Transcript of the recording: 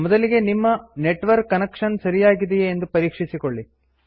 ಮೊದಲಿಗೆ ನಿಮ್ಮ network connection ಸರಿಯಾಗಿದೆಯೇ ಎಂದು ಪರೀಕ್ಷಿಸಿಕೊಳ್ಳಿ